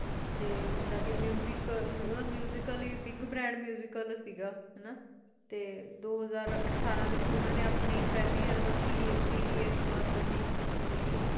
ਓਹਦਾ ਮੁਸਿਕ ਹੈ big brand ਮੁਸ਼ਿਕਲ ਸੇਗਾ ਤੇ ਦੋ ਹਾਜਰ ਅਠਾਰਾਂ ਡੇ ਵਿਚ ਓਹਨੇ ਆਪਣੀ ਫੈਲੀ ਐਲਬਮ ਪ. ਬ. ਸ ਇਕ ਰਿਲੇਸੇ ਕੀਤੀ ਸੀ